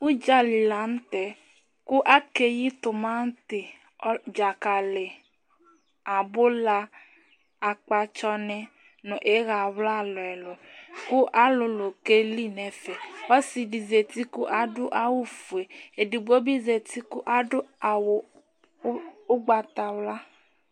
Udzali la ntɛ kʋ akeyi t'manti, dzakali, abʋla, akpatsɔ ni nʋ iya wla ɛlu ɛlu kʋ alulu keli nʋ ɛfɛ Ɔsi di zɛti kʋ adu awu fʋe Ɛdigbo bi zɛti kʋ adu awu ugbatawla